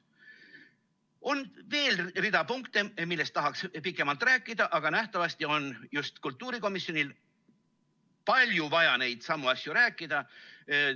On veel rida punkte, millest tahaks pikemalt rääkida, aga nähtavasti on just kultuurikomisjonil vaja palju nendestsamadest asjadest rääkida.